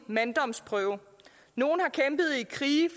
manddomsprøve nogle har kæmpet i krige